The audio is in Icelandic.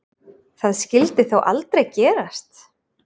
Það skyldi þó aldrei gerast?